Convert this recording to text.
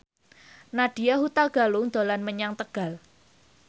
Nadya Hutagalung dolan menyang Tegal